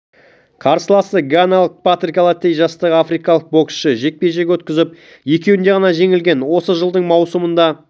қарсыласы ганалық патрик аллотей жастағы африкалық боксшы жекпе-жек өткізіп екеуінде ғана жеңілген осы жылдың маусымында